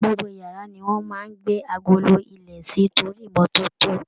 Gbogbo iyàrá ni wón máa ń gbé agolo ilẹ̀ sí torí ìmọ́tótó.